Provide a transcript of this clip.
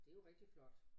Det jo rigtig flot